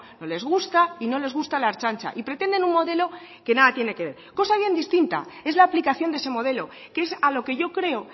no les gusta y no les gusta la ertzaintza y pretenden un modelo que nada tiene que ver cosa bien distinta es la aplicación de ese modelo que es a lo que yo creo